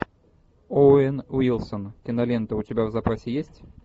оуэн уилсон кинолента у тебя в запасе есть